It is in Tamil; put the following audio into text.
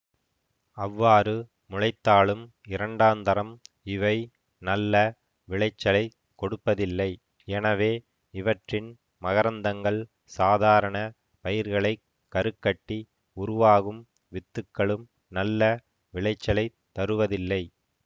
அவ்வாறு முளைத்தாலும் இரண்டாந்தரம் இவை நல்ல விளைச்சலைக் கொடுப்பதில்லை எனவே இவற்றின் மகரந்தங்கள் சாதாரண பயிர்களைக் கருக்கட்டி உருவாகும் வித்துக்களும் நல்ல விளைச்சலைத் தருவதில்லை